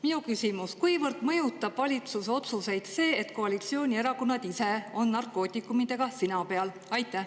Minu küsimus: kuivõrd mõjutab valitsuse otsuseid see, et koalitsioonierakonnad ise on narkootikumidega sina peal?